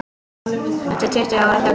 Eftir tuttugu ára þögn